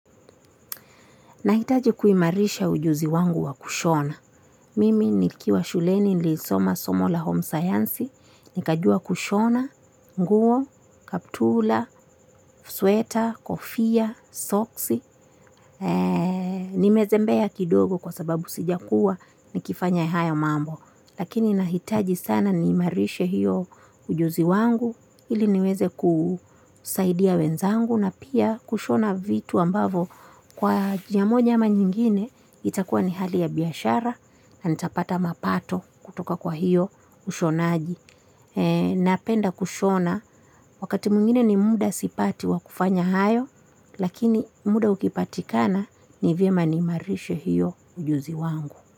Nahitaji kuimarisha ujuzi wangu wa kushona. Mimi nikiwa shuleni nilisoma somo la homescience, nikajua kushona, nguo, kaptula, sweta, kofia, soksi. Nimezembea kidogo kwa sababu sijakuwa nikifanya haya mambo. Lakini nahitaji sana niimarishe hiyo ujuzi wangu ili niweze kusaidia wenzangu na pia kushona vitu ambavyo kwa njia mona ama nyingine itakuwa ni hali ya biashara na nitapata mapato kutoka kwa hiyo ushonaji. Napenda kushona wakati mwingine ni muda sipati wa kufanya hayo lakini muda ukipatikana ni vyema niimarishe hiyo ujuzi wangu.